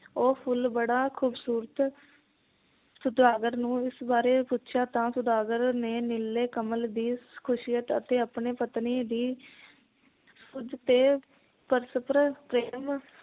ਉਹ ਫੁਲ ਬੜਾ ਖੂਬਸੂਰਤ ਸੌਦਾਗਰ ਨੂੰ ਇਸ ਬਾਰੇ ਪੁੱਛਿਆਂ ਤਾਂ ਸੌਦਾਗਰ ਨੇ ਨੀਲੇ ਕਮਲ ਦੀ ਖ਼ੁਸ਼ੀਅਤ ਅਤੇ ਆਪਣੀ ਪਤਨੀ ਦੀ ਪਰਸਪਰ ਪ੍ਰੇਮ